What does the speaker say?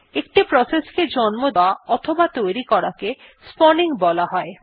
একটি প্রসেসকে জন্ম দেওয়া অথবা তৈরি করাকে স্পাউনিং বলা হয়